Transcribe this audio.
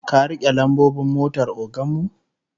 Ka rike lambobin motar ogan mu?